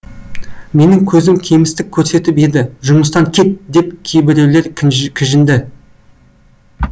менің көзім кемістік көрсетіп еді жұмыстан кет деп кейбіреулер кіжінді